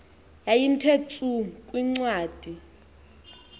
yayiwnthe tsu kwincwadi